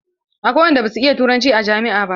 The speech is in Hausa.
Akwai waɗanda ba su iya turanci a jami'a ba.